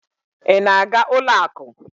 ị na-aga ụlọ akụ?